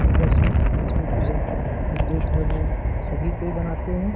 इ लक्ष्मी लक्ष्मी पूजन हिन्दू धर्म में सभी कोई मनाते हैं |